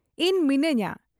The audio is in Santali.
ᱤᱧ ᱢᱤᱱᱟᱹᱧᱟ ᱾